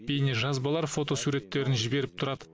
бейнежазбалар фотосуреттерін жіберіп тұрады